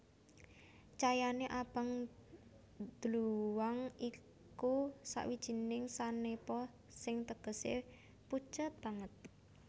Cayané abang dluwang iku sawijining sanepa sing tegesé pucet banget